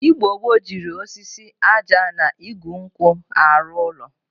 Igbo gboo jiri osisi, aja na igu nkwu aru ulo.